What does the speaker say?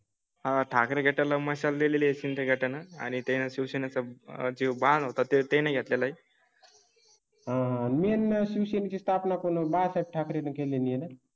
हां ठाकरे त्याला मसाले लेले सिंधी घटना आणि त्या शिक्षणाचा आजोबां होता. ते तेने घेतले नाही. हां, हां मेन मशीन ची स्थापना कोण? बाळासाहेब ठाकरे न केलेली आहे.